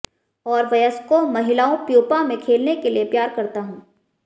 और वयस्कों महिलाओं प्यूपा में खेलने के लिए प्यार करता हूँ